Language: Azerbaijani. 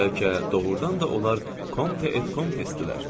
Bəlkə doğrudan da onlar Konte et Komtesdilər.